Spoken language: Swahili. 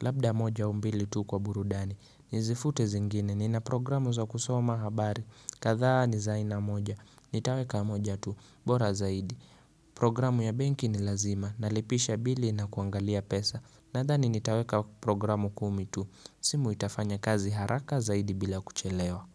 labda moja au mbili tu kwa burudani Nizifute zingine, nina programu za kusoma habari, kadha ni zaina moja, nitaweka moja tu, bora zaidi Programu ya benki ni lazima. Nalipisha bili na kuangalia pesa. Nadhani nitaweka programu kumi tu. Simu itafanya kazi haraka zaidi bila kuchelewa.